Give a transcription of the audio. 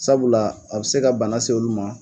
Sabula a bi se ka bana se olu ma